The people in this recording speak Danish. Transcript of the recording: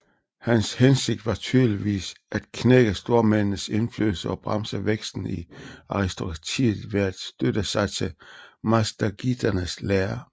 Hans hensigt var tydeligvis at knække stormændenes indflydelse og bremse væksten i aristokratiet ved at støtte sig til mazdakiternes lære